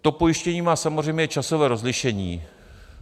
To pojištění má samozřejmě časové rozlišení.